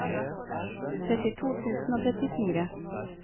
trettito tusen og trettifire